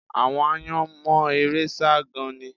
Àwọn aáyán mọ eré sá gan-an ni